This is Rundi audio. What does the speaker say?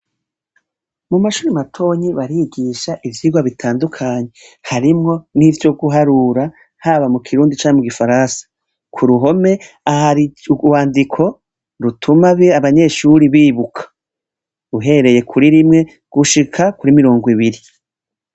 Mu mashuri matoyi barigisha ivyigwa bitandukanye, harimwo n'ivy'uguharura, haba mu kirundi canke mu gifaransa. Ku ruhome, hari urwandiko rutuma abanyeshure bibuka. Uhereye kuri rimwe gushika kuri kumirongo ibiri.